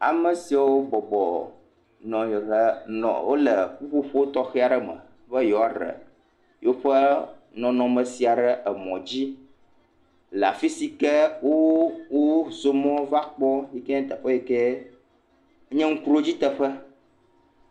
Ame siwo bɔbɔnɔ anyi ɖe nɔ wo le ƒuƒoƒo tɔxe aɖe me be yewoa ɖe yewoƒe nɔnɔnme sia ɖe emɔ dzi le afi si ke wo wozɔ mɔ va kpɔ yi ke nye teƒe yi ke nye ŋkuɖodzi teƒe.